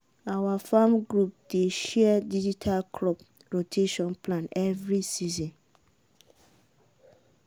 our farm group dey share digital crop rotation plan every season.